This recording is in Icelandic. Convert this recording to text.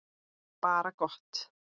Bara gott.